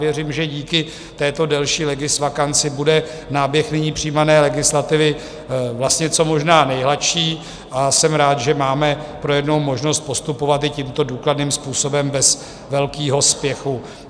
Věřím, že díky této delší legisvakanci bude náběh nyní přijímané legislativy vlastně co možná nejhladší, a jsem rád, že máme pro jednou možnost postupovat i tímto důkladným způsobem bez velkého spěchu.